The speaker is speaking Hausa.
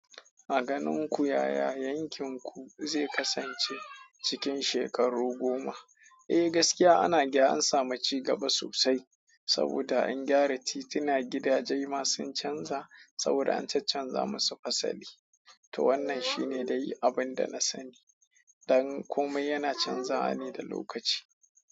A ganin ku yaya yankin ku zai kasance cikin shekaru goma? Eh, gaskiya ana gyara an samu ci gaba sosai. Saboda an ƙyara tituna gidaje ma sun canza saboda an chanza musu fasali. To wannan shine dai abinda na sani. Dan komai yana canzawa ne da lokaci.